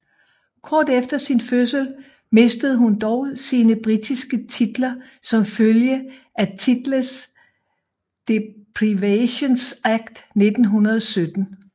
Kort efter sin fødsel mistede hun dog sine britiske titler som følge af Titles Deprivation Act 1917